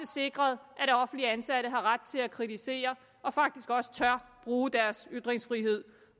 sikrede at offentligt ansatte har ret til at kritisere og faktisk også tør bruge deres ytringsfrihed